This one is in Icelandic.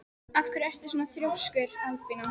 Af hverju ertu svona þrjóskur, Albína?